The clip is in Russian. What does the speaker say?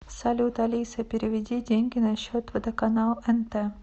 салют алиса переведи деньги на счет водоканал нт